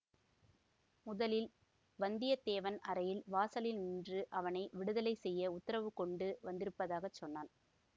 முதலில் வந்தியத்தேவன் அறையின் வாசலில் நின்று அவனை விடுதலை செய்ய உத்தரவு கொண்டு வந்திருப்பதாகச் சொன்னான்